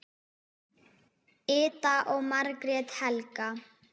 Ida og Margrét Helga.